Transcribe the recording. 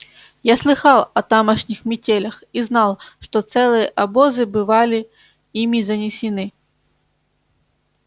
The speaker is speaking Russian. я слыхал о тамошних метелях и знал что целые обозы бывали ими занесены